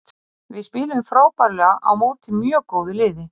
Við spiluðum frábærlega á móti mjög góðu liðið.